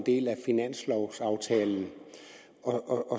del af finanslovaftalen og